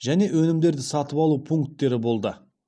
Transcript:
және өнімдерді сатып алу пункттері болды